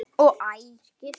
og Æ!